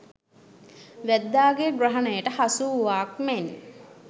වැද්දාගේ ග්‍රහණයට හසුවූවාක් මෙන්